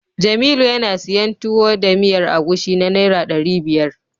Jamilu yana siyan Tuwo da miyar agushi na Naira ɗari biyar.